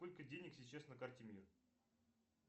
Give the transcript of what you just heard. сколько денег сейчас на карте мир